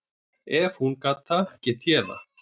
Ef hún gat það, gæti ég það.